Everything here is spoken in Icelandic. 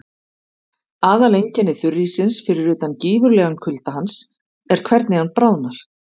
Aðaleinkenni þurríssins, fyrir utan gífurlegan kulda hans, er hvernig hann bráðnar.